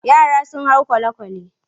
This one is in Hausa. Yara sun hau kwale-kwale.